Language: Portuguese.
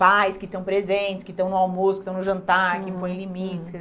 Pais que estão presentes, que estão no almoço, que estão no jantar, que põem limites.